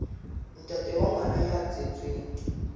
ntate wa ngwana ya tswetsweng